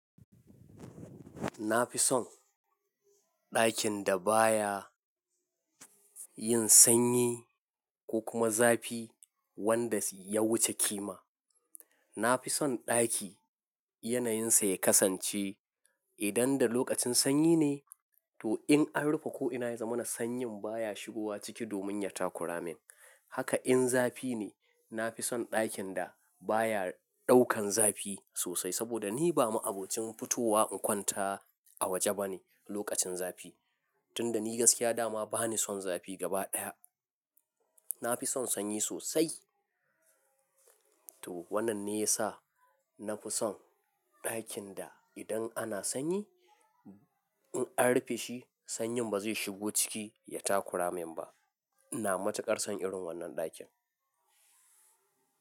Na fi son ɗakin da baya yin sanyi, ko kuma zafi, wanda ya wuce kima. Na fi son ɗaki yanayinsa ya kasance idan da lokacin sanyi ne to in an rufe ko ina ya zama na sanyin baya shigowa ciki domin ya takura min. Haka in zafi ne, na fi son ɗakin da baya ɗaukan zafi sosai, saboda ni ba ma'abocin fitowa in kwanta a waje bane, lokacin zafi. Tunda ni gaskiya da ma bani son zafi gaba ɗaya. Na fi son sanyi sosai. To wannan ne ya sa, na fi son ɗakin da idan ana sanyi in an rufe shi, sanyin ba zai shigo ciki ya takura min ba. Ina matuƙar son irin wannan ɗakin.